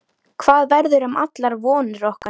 Hvað verður um allar vonir okkar?